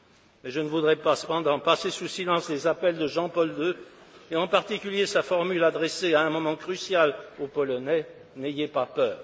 Mais je ne voudrais cependant pas passer sous silence les appels de Jean Paul II et en particulier sa formule adressée à un moment crucial aux Polonais N'ayez pas peur!